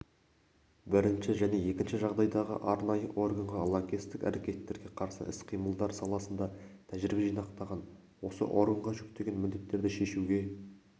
бірінші және екінші жағдайдағы арнайы органға лаңкестік әрекеттерге қарсы іс-қимылдар саласында тәжірибе жинақтаған осы органға жүктеген міндеттерді шешуге